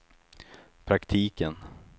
praktiken